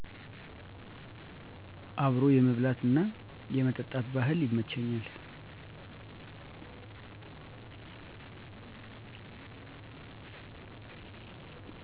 አብሮ የመብላት እና የመጠጣት ባህል ይመቸኛል።